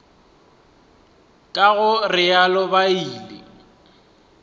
ka go realo ba ile